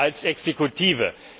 als Exekutive.